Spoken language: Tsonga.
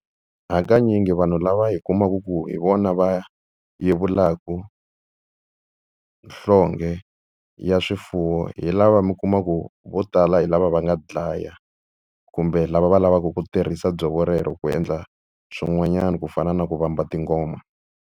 Hakanyingi vanhu lava hi kumaka ku hi vona va yevulaka nhlonge ya swifuwo hi lava mi kumaku vo tala hi lava va nga dlaya kumbe lava va lavaka ku tirhisa dzovo rero ku endla swin'wanyana ku fana na ku vamba tingoma.